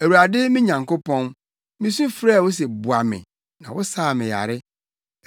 Awurade me Nyankopɔn, misu frɛɛ wo sɛ boa me na wosaa me yare.